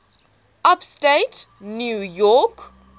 upstate new york